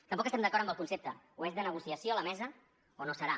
tampoc estem d’acord amb el concepte o és de negociació la mesa o no serà